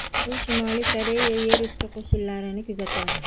U Shimoliy Koreya yer usti qo‘shinlarini kuzatadi.